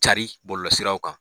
Cari bɔlɔlɔsiraw kan.